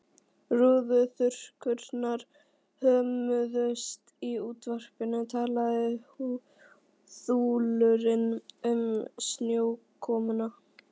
Rúðuþurrkurnar hömuðust, í útvarpinu talaði þulurinn um snjókomuna.